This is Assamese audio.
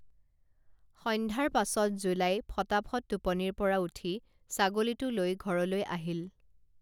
সন্ধ্যাৰ পাছত জোলাই ফটাফট টোপনিৰপৰা উঠি ছাগলীটো লৈ ঘৰলৈ আহিল